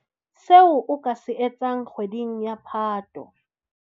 Seo o ka se etsang kgweding ya Phato.